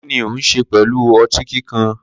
Kini o n ṣe pẹlu ọti kikan?